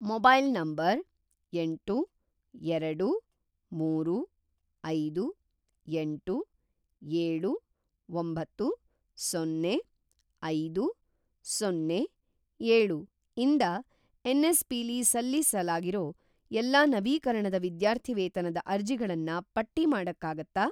Mobile number ಎಂಟು, ಎರಡು, ಮೂರು, ಐದು, ಎಂಟು, ಏಳು, ಒಂಬತ್ತು, ಸೊನ್ನೆ, ಐದು, ಸೊನ್ನೆ, ಏಳು ಇಂದ ಎನ್.ಎಸ್.ಪಿ.ಲಿ ಸಲ್ಲಿಸಲಾಗಿರೋ ಎಲ್ಲಾ ನವೀಕರಣದ ವಿದ್ಯಾರ್ಥಿವೇತನದ ಅರ್ಜಿಗಳನ್ನ ಪಟ್ಟಿ ಮಾಡಕ್ಕಾಗತ್ತಾ?